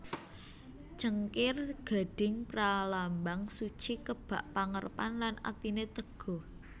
Cengkir gading pralambang suci kebak pangarepan lan atiné teguh